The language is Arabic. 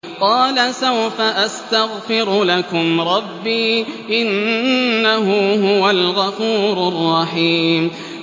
قَالَ سَوْفَ أَسْتَغْفِرُ لَكُمْ رَبِّي ۖ إِنَّهُ هُوَ الْغَفُورُ الرَّحِيمُ